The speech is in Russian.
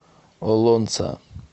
олонца